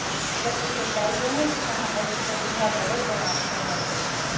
जबकि सच्चाई यह है कि यहां ऐसी प्रतिभा बड़े पैमाने पर मौजूद है